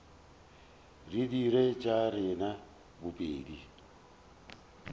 re dire tša rena bobedi